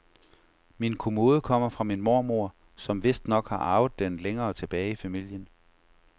Min kommode kommer fra min mormor, som vistnok har arvet den længere tilbage i familien.